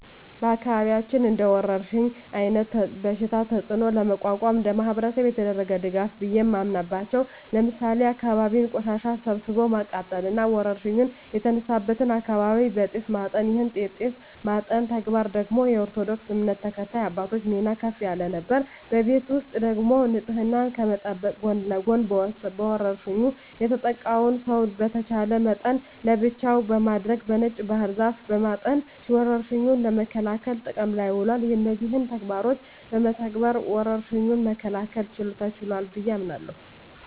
በአካባቢያችን እንደወረርሽኝ አይነት በሽታ ተጽኖ ለመቋቋም እንደማህበረሰብ የተደረገ ድጋፍ ቢየ ማምናበቻው ለምሳሌ የአካባቢን ቆሻሻ ሰብስቦ ማቃጠል እና ወረርሽኝ የተነሳበትን አካባቢ በጢስ ማጠን ይህን የጢስ ማጠን ተግባር ደግሞ የኦርቶዶክስ እምነት ተከታይ አባቶች ሚና ከፍ ያለ ነበር። በቤት ውስጥ ደግሞ ንጽህናን ከመጠበቅ ጎን ለጎን በወርሽኙ የተጠቃውን ሰው በተቻለ መጠን ለብቻው በማድረግ በነጭ ባህር ዛፍ በማጠን ወረርሽኙን ለመከላከል ጥቅም ላይ ውሏል። እነዚህን ተግባሮች በመተግበር ወረርሽኙን መከላከል ተችሏል ብየ አምናለሁ።